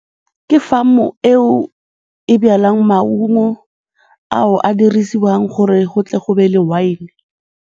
Ke farm-o eo e jwalang maungo ao a dirisiwang gore go tle go be le waene.